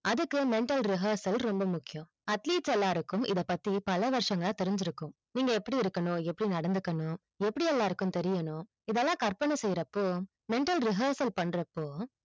அதுக்கு mental rehearsal ரொம்ப முக்கியம் atleast எல்லாருக்கும் இத பத்தி பல வருஷங்களா தெரிஞ்சி இருக்கும் நீங்க எப்படி இருக்கனும் எப்படி நடந்துக்கனும் எப்படி எல்லாருக்கும் தெரியனும் இத எல்லாம் கற்பனை செய்யறப்போ mental rehearsal பண்றப்போ